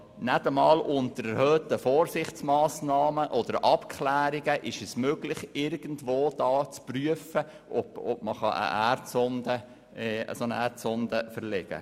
Nicht einmal unter erhöhten Vorsichtsmassnahmen oder mit Abklärungen ist es möglich, irgendwo zu prüfen, ob eine Erdsonde verlegt werden kann.